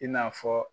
I n'a fɔ